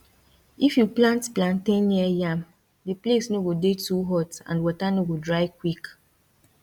if you plant plantain near yam the place no go dey too hot and water no go dry quick